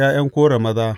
Ta ’Ya’yan Kora maza.